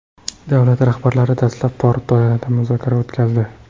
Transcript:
Davlat rahbarlari dastlab tor doirada muzokara o‘tkazdi.